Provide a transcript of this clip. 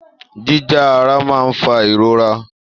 Jíjá ara máa ń fa ìrora.